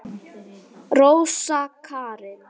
Rósa Karin.